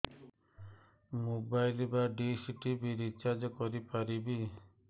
mobile ବା dish TV recharge କରି ପାରିବି